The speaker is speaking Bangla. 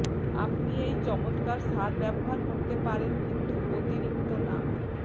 আপনি এই চমৎকার সার ব্যবহার করতে পারেন কিন্তু অতিরিক্ত না